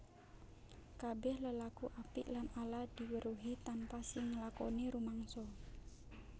Kabèh lelaku apik lan ala diweruhi tanpa sing nglakoni rumangsa